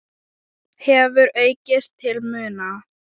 hefur aukist til muna.